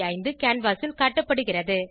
625 canvas ல் காட்டப்படுகுறது